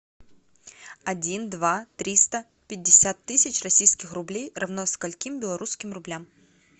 один два триста пятьдесят тысяч российских рублей равно скольким белорусским рублям